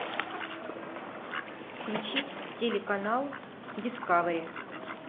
включить телеканал дискавери